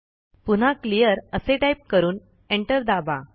पुन्हा क्लिअर असे टाईप करून एंटर दाबा